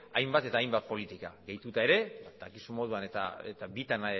hainbat eta hainbat politika gehituta ere dakizun moduan eta bitan